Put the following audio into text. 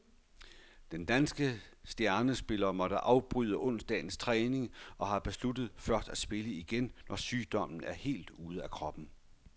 Den danske stjernespiller måtte afbryde onsdagens træning, og han har besluttet først at spille igen, når sygdommen er helt ude af kroppen.